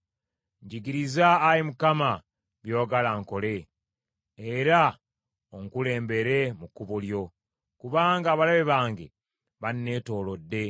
Njigiriza, Ayi Mukama , by’oyagala nkole, era onkulembere mu kkubo lyo, kubanga abalabe bange banneetoolodde.